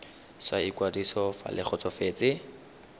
sa ikwadiso fa le kgotsofetse